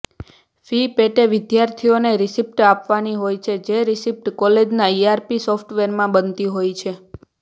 fee પેટે વિદ્યાર્થીઓને receipt આપવાની હોય છે જ રિસિપ્ટ કોલેજના ઈઆરપી સોફ્ટવેરમાં બનતી હોય છે